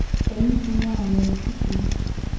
Enikingua wenikitii.